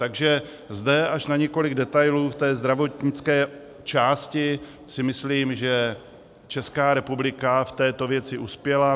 Takže zde až na několik detailů v té zdravotnické části si myslím, že Česká republika v této věci uspěla.